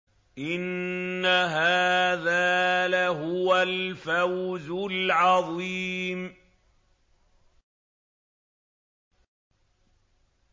إِنَّ هَٰذَا لَهُوَ الْفَوْزُ الْعَظِيمُ